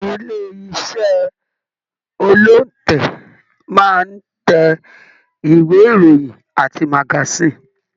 Ilé iṣẹ olóntẹ́ máa n tẹ ìwé ìròyìn àti magasin.